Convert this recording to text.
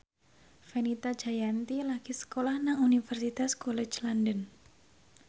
Fenita Jayanti lagi sekolah nang Universitas College London